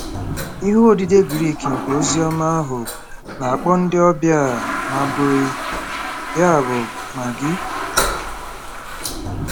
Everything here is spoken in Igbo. Ihe odide Grik nke Oziọma ahụ na-akpọ ndị ọbịa a maʹgoi, ya bụ, “ magi .”